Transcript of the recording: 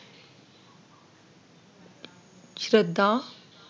श्रद्धा